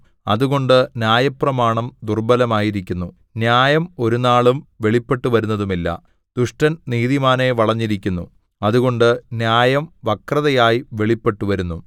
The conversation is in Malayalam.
അതുകൊണ്ട് ന്യായപ്രമാണം ദുർബലമായിരിക്കുന്നു ന്യായം ഒരുനാളും വെളിപ്പെട്ടുവരുന്നതുമില്ല ദുഷ്ടൻ നീതിമാനെ വളഞ്ഞിരിക്കുന്നു അതുകൊണ്ട് ന്യായം വക്രതയായി വെളിപ്പെട്ടുവരുന്നു